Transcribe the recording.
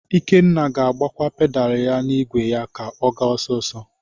Ikenna ga-agbakwa pedalu n'igwe ya ka ọ gaa ọsisọ.